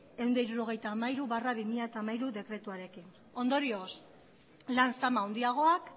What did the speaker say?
ehun eta hirurogeita hamairu barra bi mila hamairu dekretuarekin ondorioz lan sama handiagoak